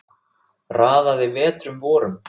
Raðaði vetrum vorum